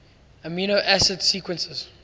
amino acid sequences